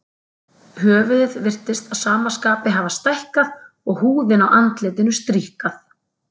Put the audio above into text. Höfuðið virtist að sama skapi hafa stækkað og húðin á andlitinu stríkkað.